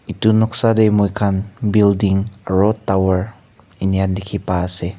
etu noksa te moi khan building aro tower inika dikhi pai ase.